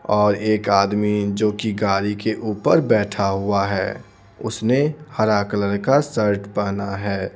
और एक आदमी जो कि गाड़ी के ऊपर बैठा हुआ है उसने हरा कलर का शर्ट पहना है।